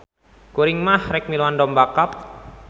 Kuring mah rek miluan domba cup